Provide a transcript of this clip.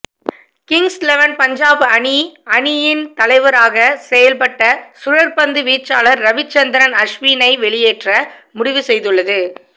Kings eleven Punjab அணி அணியின் தலைவராக செயல்பட்ட சுழற்பந்து வீச்சாளர் ரவிச்சந்திரன் அஸ்வினை வெளியேற்ற முடிவு செய்துள்ளது